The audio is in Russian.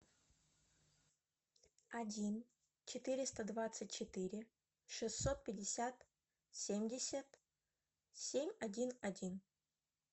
один четыреста двадцать четыре шестьсот пятьдесят семьдесят семь один один